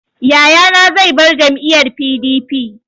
Yayana zai bar jam'iyyar PDP.